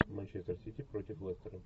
манчестер сити против лестера